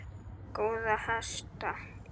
Góða hesta!